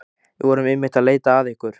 Við vorum einmitt að leita að ykkur.